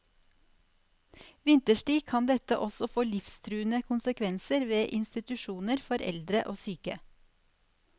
Vinterstid kan dette også få livstruende konsekvenser ved institusjoner for eldre og syke.